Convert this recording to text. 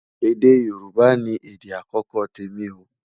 èdè yorùbà ní èdè akọkọ témi o